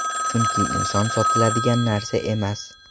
Chunki inson sotiladigan narsa emas.